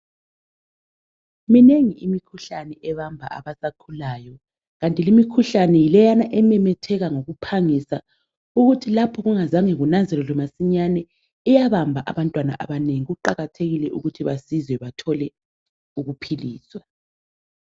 Minengi imikhuhlane ebamba abasakhulayo, kanti limikhuhlane yileyana ememetheka ngokuphangisa, ukuthi lapho kungazange kunanzelelwe masinyane iyabamba abantwana abanengi. Kuqakathekile ukuthi basizwe bathole ukuphiliswa.